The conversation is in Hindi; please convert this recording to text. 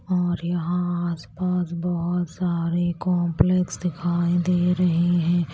और यहां आसपास बहुत सारे कॉम्प्लेक्स दिखाई दे रहे हैं।